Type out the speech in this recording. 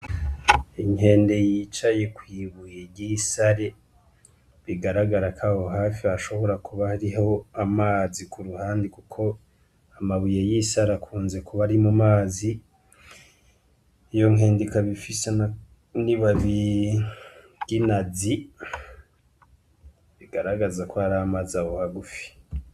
Inkende yicaye kw'ibuye ry'isare bigaragarako aho hafi hashobora kuba ariho amazi ku ruhandi, kuko amabuye y'isare akunze kuba ari mu mazi iyo nkendika bifisana ni babiginazi bigaragaza ko hari amaze abo hagufi.